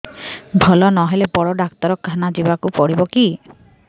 ଭଲ ନହେଲେ ବଡ ଡାକ୍ତର ଖାନା ଯିବା କୁ ପଡିବକି